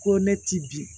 Ko ne ti bin